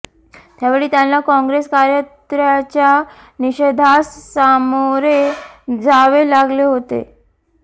त्यावेळी त्यांना काँग्रेस कार्यकत्र्याच्या निषेधास सामोरे जावे लागले होते